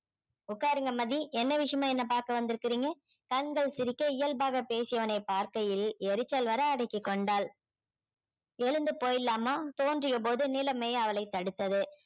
உட்காருங்க மதி என்ன விஷயமா என்னை பார்க்க வந்திருக்கிறீங்க கண்கள் சிரிக்க இயல்பாக பேசியவனை பார்க்கையில் எரிச்சல் வர அடக்கிக் கொண்டாள் எழுந்து போயிடலாமா தோன்றியபோது நிலைமை அவளை தடுத்தது